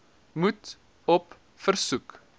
moet op versoek